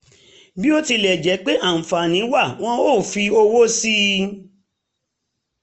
bí ó tilẹ̀ jẹ́ pé àǹfààní wà wọ́n ò fi ọwọ́ sí i